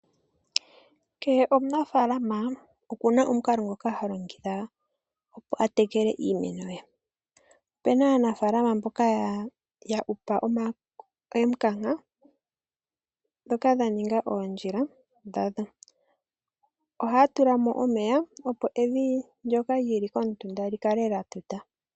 Kehe omunafalama oku na omukalo ngoka ha longitha opo a tekele iimeno ye. Ope na aanafalama mboka ya hupa emukanka dhoka dha ninga ondjila dhadho. Ohaa tula mo omeya opo evi ndjoka lili komutunda likale la tuta.